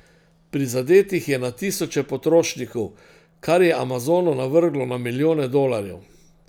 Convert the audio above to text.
Prizadetih je na tisoče potrošnikov, kar je Amazonu navrglo na milijone dolarjev.